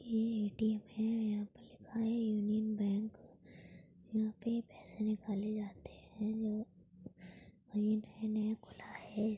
ये ए_टी_एम है यहाँ पर लिखा है यूनियन बैंक यहाँ पे पैसे निकाले जाते हैं जो और ये नया नया खुला है ।